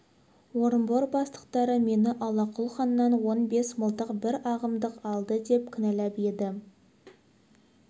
орынбор бастықтары мені аллақұл ханнан он бес мылтық бір арғымақ алды деп кінәлап еді